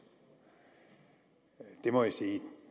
det må jeg sige jo